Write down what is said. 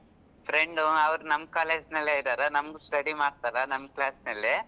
Friend ಅವ್ರು ನಮ್ಮ್ college ನಲ್ಲೆ ಇದಾರೆ ನಮ್ಮ್ study ಮಾಡ್ತಾರಾ ನಮ್ಮ್ class ನಲ್ಲೇ.